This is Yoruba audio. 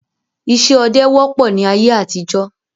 Ìṣe ọdẹ wọ́pọ̀ ni ayé àtijọ́